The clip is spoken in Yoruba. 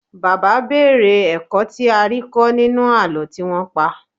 Bàbá béèrè ẹ̀kọ́ tí a rí kọ́ nínú àlọ́ tí wọ́n pa.